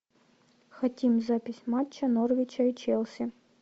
хотим запись матча норвича и челси